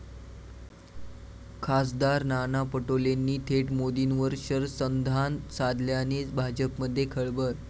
खा. नाना पटोलेंनी थेट मोदींवर शरसंधान साधल्याने भाजपमध्ये खळबळ!